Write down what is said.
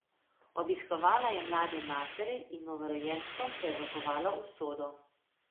Obiskovala je mlade matere in novorojenčkom prerokovala usodo.